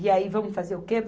E aí vamos fazer o quê?